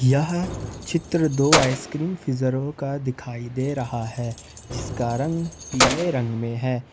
यह चित्र दो आइसक्रीम फ्रीजरो का दिखाई दे रहा है जिसका रंग पीले रंग में है।